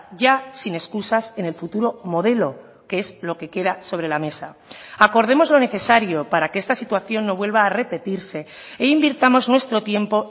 ya sin excusas en el futuro modelo que es lo que queda sobre la mesa acordemos lo necesario para que esta situación no vuelva a repetirse e invirtamos nuestro tiempo